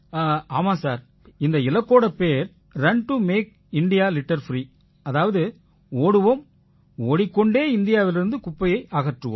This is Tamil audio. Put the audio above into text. ஆமாம் சார் இந்த இலக்கோட பேர் run to make India litter free அதாவது ஓடுவோம் ஓடிக்கொண்டே இந்தியாவிலிருந்து குப்பையை அகற்றுவோம்